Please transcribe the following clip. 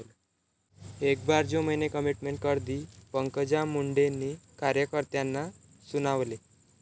एक बार जो मैने कमिटमेंट कर दी...'पंकजा मुंडेंनी कार्यकर्त्यांना सुनावले